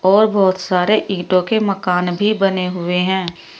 और बहुत सारे ईंटों के मकान भी बने हुए है।